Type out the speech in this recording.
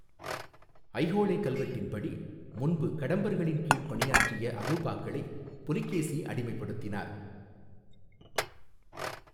ஐஹோளே கல்வெட்டின்படி, முன்பு கடம்பர்களின் கீழ் பணியாற்றிய அலுபாக்களை புலிகேசி அடிமைப்படுத்தினார்.